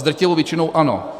S drtivou většinou ano.